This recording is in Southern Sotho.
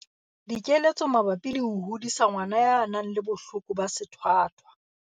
Dikeletso mabapi le ho hodisa ngwana ya nang le bohloko ba sethwathwa.